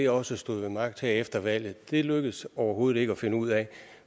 også stod ved magt her efter valget det lykkedes det overhovedet ikke at finde ud af